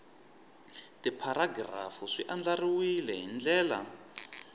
tipharagirafu swi andlariwile hi ndlela